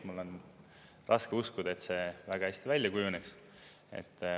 Mul on raske uskuda, et see väga hästi välja kujuneks.